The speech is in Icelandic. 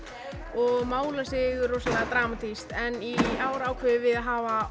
og málar sig rosalega dramatískt en í ár ákváðum við að hafa